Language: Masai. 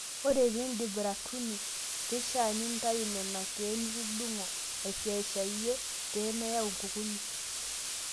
Ore pee indip ratuni keishaa nintayu Nena keek nitudung'o aisiashayie pee meyau nkukuni.